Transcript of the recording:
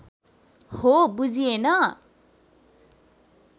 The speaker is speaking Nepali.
हो बुझिएन